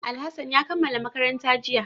Alhassan ya kammala makaranta jiya